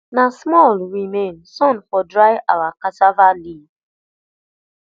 na small remain sun for dry our cassava leaf